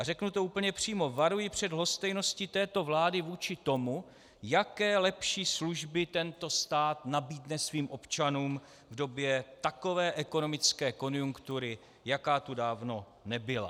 A řeknu to úplně přímo, varuji před lhostejností této vlády vůči tomu, jaké lepší služby tento stát nabídne svým občanům v době takové ekonomické konjunktury, jaká tu dávno nebyla.